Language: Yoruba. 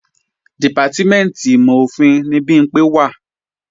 Dìpátímẹ̀ntì ìmọ̀-òfin ni Bimpé wà